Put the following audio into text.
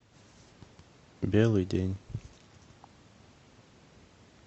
белый день